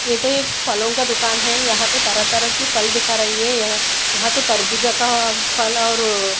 ये तो एक फलों का दुकान है यहां तो तरह तरह के फल दिख रही है यह यहां तो तरबूजा का फल और--